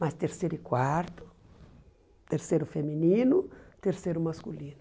Mas terceiro e quarto, terceiro feminino, terceiro masculino.